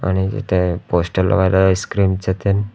आणि इथे पोस्टर लावलेलं आहे आईस्क्रीम च तेंन--